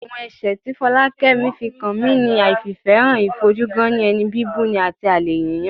Àwọn ẹ̀ṣẹ̀ ti Fọlákẹ́mi fi kan mi ni àìfìfẹ́hàn, ìfojú-gán-ní-ẹni, bíbuni àti àlè yíyàn